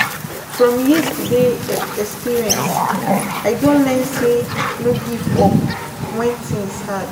From yesterday experience, I don learn say no give up when things hard.